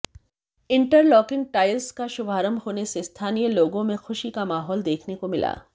interlocking tiles का शुभारंभ होने से स्थानीय लोगों में खुशी का माहौल देखने को मिला